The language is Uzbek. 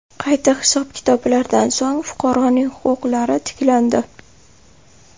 Qayta hisob-kitoblardan so‘ng, fuqaroning huquqlari tiklandi.